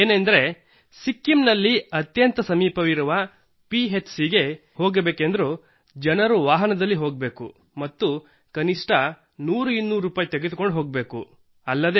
ಏನೆಂದರೆ ಸಿಕ್ಕಿಂನಲ್ಲಿ ಅತ್ಯಂತ ಸಮೀಪವಿರುವ ಪಿಹೆಚ್ ಸಿ ಗೆ ಹೋಗಬೇಕೆಂದರೂ ಜನರು ವಾಹನದಲ್ಲಿ ಹೋಗಬೇಕು ಮತ್ತು ಕನಿಷ್ಠ ಒಂದು ಅಥವಾ ಎರಡುನೂರು ರೂಪಾಯಿ ತೆಗೆದುಕೊಂಡು ಹೋಗಬೇಕಿತ್ತು